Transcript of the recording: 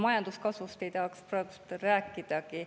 Majanduskasvust ei tahaks praegu rääkidagi.